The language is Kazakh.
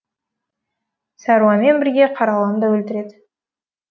сәруармен бірге қараланы да өлтіреді